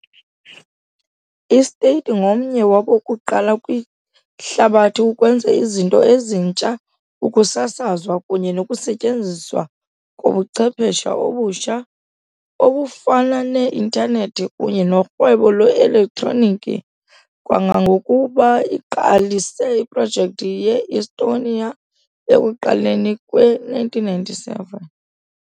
I-State ngomnye wabokuqala kwihlabathi ukwenza izinto ezintsha, ukusasazwa kunye nokusetyenziswa kobuchwephesha obutsha, obufana ne -Intanethi kunye norhwebo lwe-elektroniki, kangangokuba iqalise iprojekthi ye -e-Estonia ekuqaleni kwe-1997.